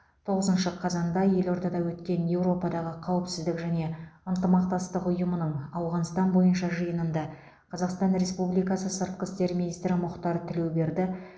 тоғызыншы қазанда елордада өткен еуропадағы қауіпсіздік және ынтымақтастық ұйымының ауғанстан бойынша жиынында қазақстан республикасы сыртқы істер министрі мұхтар тілеуберді